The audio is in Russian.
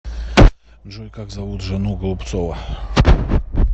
джой как зовут жену голубцова